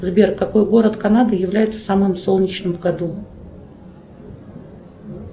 сбер какой город канады является самым солнечным в году